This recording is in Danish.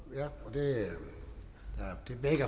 det